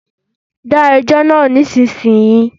Dá ẹjọ náà nísinsìnyí!